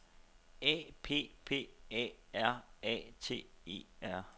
A P P A R A T E R